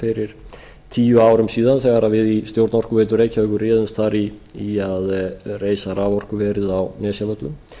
fyrir tíu árum síðan þegar við í stjórn orkuveitu reykjavíkur réðumst þar í að reisa raforkuverið á nesjavöllum